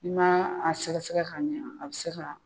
Na a sɛgɛ sɛgɛ ka ɲɛ, a be se ka